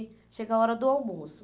chega a hora do almoço.